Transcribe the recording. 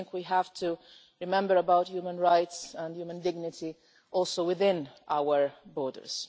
We have to remember about human rights and human dignity, also within our borders.